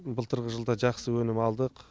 былтырғы жылы да жақсы өнім алдық